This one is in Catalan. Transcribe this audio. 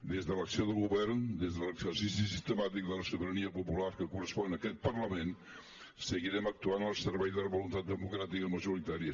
des de l’acció de govern des de l’exercici sistemàtic de la sobirania popular que correspon a aquest parlament seguirem actuant al servei de la voluntat democràtica majoritària